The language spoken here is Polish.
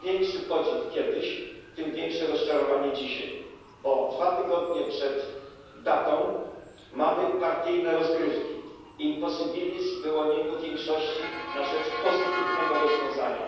Im większy podziw kiedyś, tym większe rozczarowanie dzisiaj, bo dwa tygodnie przed datą mamy partyjne rozgrywki, imposybilizm w wyłonieniu większości na rzecz pozytywnego rozwiązania.